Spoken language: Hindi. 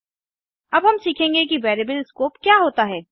अब हम सीखेंगे कि वेरिएबल स्कोप क्या होता है